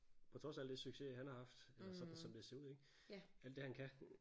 På trods af alt det success han har haft alt det han kan